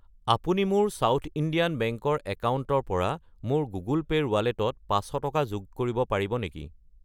আপুনি মোৰ South Indian Bank ৰ একাউণ্টৰ পৰা মোৰ গুগল পে' ৰ ৱালেটত 500 টকা যোগ কৰিব পাৰিব নেকি?